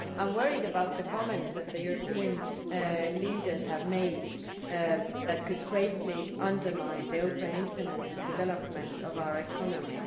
I am worried about the comments that the European leaders have made that could greatly undermine the open Internet and development of our economy.